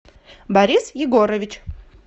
борис егорович